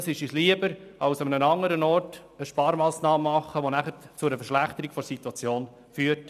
Das ist uns lieber, als in einem anderen Bereich eine Sparmassnahme zu treffen, die zu einer Verschlechterung der Situation führt.